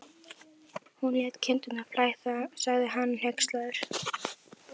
Borginni og létu sennilega ekki lífsgátuna spilla góðum fagnaði.